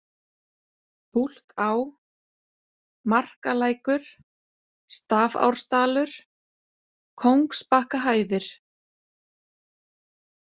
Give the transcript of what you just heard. Búlká, Markalækur, Stafárdalur, Kóngsbakkahæðir